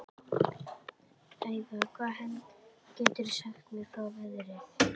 Eyva, hvað geturðu sagt mér um veðrið?